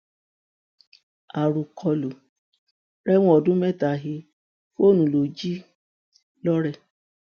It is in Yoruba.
àròkọlò rẹwọn ọdún mẹta he fóònù ló jí lọrẹ